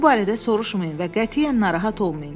Bu barədə soruşmayın və qətiyyən narahat olmayın.